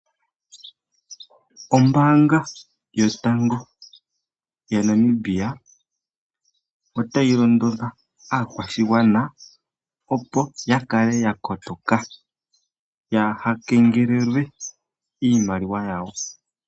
Ombaanga yotango yaNamibia otayi londodha aakwashigwana opo ya kale ya kotoka yaha kengelelwe iimaliwa yawo.